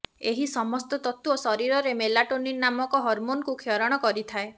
ଏହି ସମସ୍ତ ତତ୍ତ୍ୱ ଶରୀରରେ ମେଲାଟୋନିନ ନାମକ ହରମୋନକୁ କ୍ଷରଣ କରିଥାଏ